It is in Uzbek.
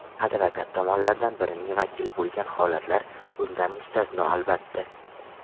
Advokat tomonlardan birining vakili bo‘lgan holatlar bundan mustasno, albatta.